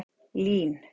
Lín